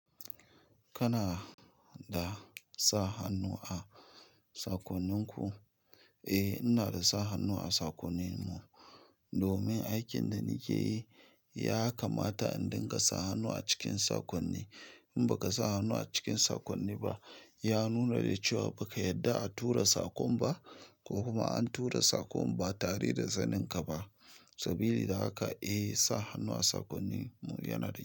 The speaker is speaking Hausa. Kana da sa hannu a sakoninku? Eh, ina da sa hannu a sakoninmu. Domin aikin da nakeyi yakamata indinga sa hannu a cikin sokonni in baka sa hannu a cikin sakonni ba, ya nuna da cewa baka yarda a tura sakon ba ko kuma an tura sakon ba tare da saninka ba. Sabili da haka, eh, sa hannu a sakonnin mu yana da kyau.